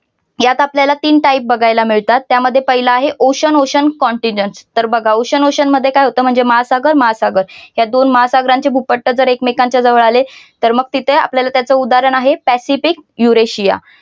यात आपल्याला तीन type बघायला मिळतात त्यामध्ये पहिल आहे ocean ocean contingen तर बघा ocean ocean मध्ये काय होतं महासागर महासागर या दोन महासागरांचे भूपट्ट जर एकमेकांच्या जवळ आले तर मग ती ते आपल्याला त्याच उदाहरण आहे पॅसिफिक युरेशिया